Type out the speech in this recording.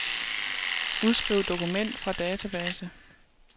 Udskriv dokument fra database.